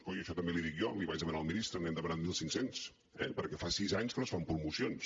coi això també l’hi dic jo l’hi vaig demanar al ministre n’hi hem demanat mil cinc cents eh perquè fa sis anys que no es fan promocions